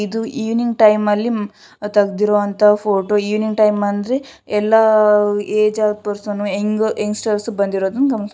ಇದು evening time ಅಲ್ಲಿ ತೆಗೆದಿರುವಂತಹ ಫೋಟೋ ಇವಿನಿಂಗ್ ಟೈಮ್ ಅಂದ್ರೆ ಎಲ್ಲಾ ಏಜ್ ಆಗ ಪೆರ್ಸನ್ಸ್ ಯಂಗ್ ಸ್ಟಾರ್ಸ್ ಬಂದಿರೋದು --